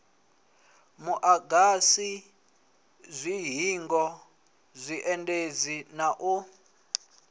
muagasi dzihingo zwiendedzi na u